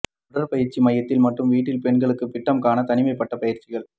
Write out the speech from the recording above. உடற்பயிற்சி மையத்தில் மற்றும் வீட்டில் பெண்களுக்கு பிட்டம் க்கான தனிமைப்படுத்தப்பட்ட பயிற்சிகள்